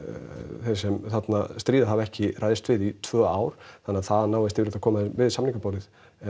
þeir sem þarna stríða hafa ekki ræðst við í tvö ár þannig að það að náist yfirleitt að koma þeim við samningaborðið